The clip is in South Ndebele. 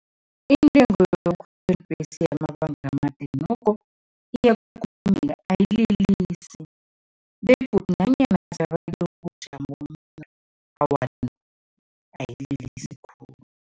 Intengo yokukhwela ibhesi yamabanga amade nokho ayililisi begodu nanyana ubujamo awa ayililisi khulu.